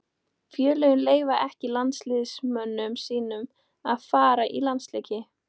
Félögin leyfa ekki landsliðsmönnum sínum að fara í landsleiki.